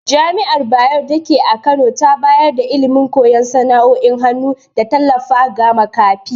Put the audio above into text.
Jami’ar Bayero datake a Kano tana bayar da ilimi, koyan sana’o’in hannu, da tallafa ga makafi.